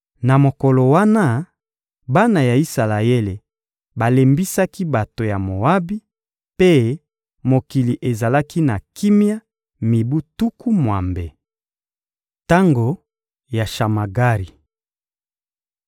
Na mokolo wana, bana ya Isalaele balembisaki bato ya Moabi, mpe mokili ezalaki na kimia mibu tuku mwambe. Tango ya Shamagari